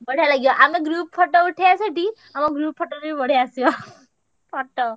ବଢିଆ ଲାଗିବ। ଆମେ group photo ଉଠେଇଆ ସେଠି ଆମ group photo ବି ବଢିଆ ଆସିବ photo।